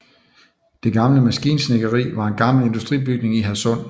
Det Gamle Maskinsnedkeri var en gammel industribygning i Hadsund